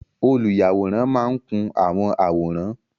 Oluyaworan maa n kun awọn aworan